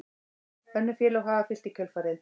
Önnur félög hafa fylgt í kjölfarið